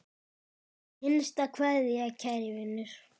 HINSTA KVEÐJA Kæri vinur.